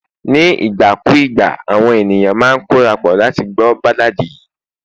ní ìgbà kù ìgbà àwọn ènìyàn ma n korapo láti gbọ balladi